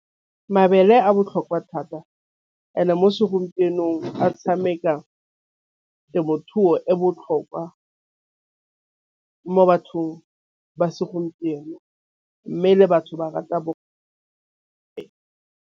Mabele a botlhokwa thata and-e mo segompienong a tšhameka temothuo e botlhokwa mo bathong ba segompieno mme le batho ba rata .